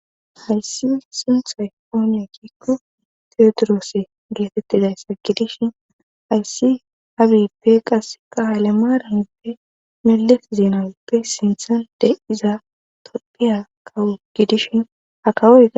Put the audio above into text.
hayssi sinthay ooniyakikkubteodroose geetettidayssa gidishin hayssi habippe qasse kaale maaraneppe melesi zinanppe sinthan de iza topphiya kawu gidishin hakawoa